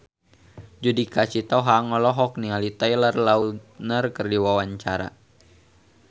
Judika Sitohang olohok ningali Taylor Lautner keur diwawancara